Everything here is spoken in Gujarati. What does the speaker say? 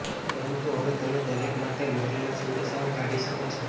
પરંતુ હવે તમે દરેક માટે મોકલેલા સંદેશાઓ કાઢી શકો છો